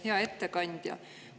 Hea ettekandja!